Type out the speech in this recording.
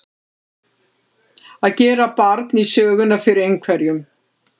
Að gera barn í söguna fyrir einhverjum